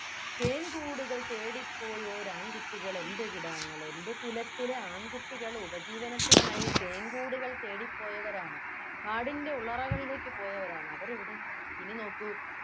തേൻകൂടുകൾ തേടിപ്പോയോരാൺകുട്ടികളെൻെറ കിടാങ്ങൾ എൻ്റെ കുലത്തിലെ ആൺകുട്ടികൾ ഉപജീവനത്തിനായി തേൻ കൂടുകൾ തേടി പോയവരാണ് കാടിൻ്റെ ഉള്ളറകളിലേക്ക് പോയവരാണ് അവരെവിടെ ഇനി നോക്കൂ